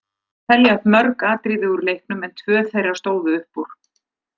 Það má telja upp mörg atriði úr leiknum en tvö þeirra stóðu upp úr.